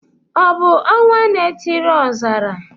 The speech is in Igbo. Ọ bụ ọnwanaetiriọzara?